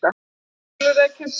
Kjötbollur eða kjötkaka